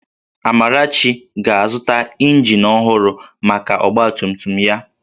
Amarachi ga-azụta ịnjin ọhụrụ maka ọgbatumtum ya